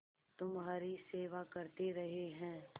तुम्हारी सेवा करते रहे हैं